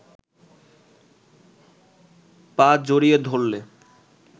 পা জড়িয়ে ধরলে